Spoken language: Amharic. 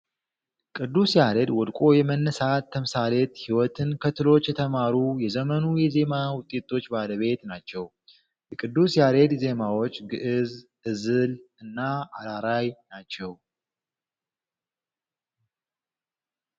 ቅዱስ ያሬድ ወድቆ የመነሳት ተምሳሌት ህይወትን ከትሎች የተማሩ የዘመኑ የዜማ ውጤቶች ባለቤት ናቸው። የቅዱስ ያሬድ ዜማዎች ግዕዝ እዝል እና አራራይ ናቸው።